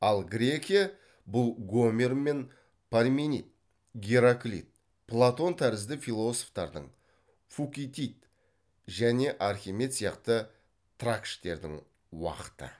ал грекия бұл гомер мен парменид гераклит платон тәрізді философтардың фукидид және архимед сияқты тракштердің уақыты